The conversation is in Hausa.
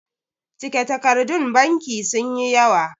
cike takardun banki sun yi yawa